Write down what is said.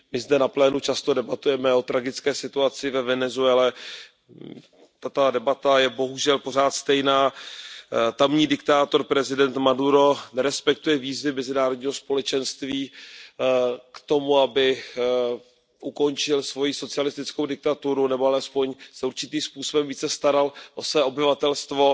My zde na plénu často debatujeme o tragické situaci ve Venezuele, tato debata je bohužel pořád stejná. Tamní diktátor, prezident Maduro, nerespektuje výzvy mezinárodního společenství k tomu, aby ukončil svoji socialistickou diktaturu nebo alespoň se určitým způsobem více staral o své obyvatelstvo.